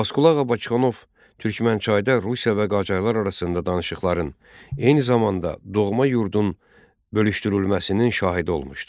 Abbasqulu Ağa Bakıxanov Türkmənçayda Rusiya və Qacarlar arasında danışıqların, eyni zamanda doğma yurdun bölüşdürülməsinin şahidi olmuşdu.